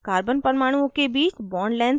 * carbon परमाणुओं के बीच bond lengths नापें